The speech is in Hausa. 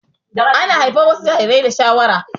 Ana haifar wasu jarirai da shawara